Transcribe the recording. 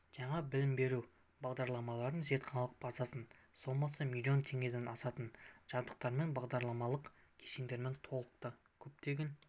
жаңа білім беру бағдарламаларының зертханалық базасы сомасы миллион теңгеден асатын жабдықтармен бағдарламалық кешендермен толықты көптеген